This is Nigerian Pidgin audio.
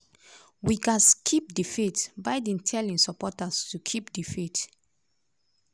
we gatz keep di faith:biden tell im supporters ' to keep di faith'.